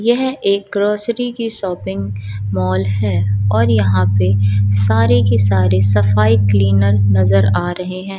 यह एक ग्रोसरी की शॉपिंग मॉल है और यहां पे सारे के सारे सफाई क्लीनर नजर आ रहे हैं।